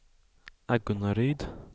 Agunnaryd